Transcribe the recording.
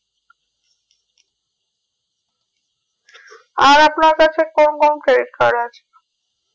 আর আপনার কাছে কোন কোন credit card আছে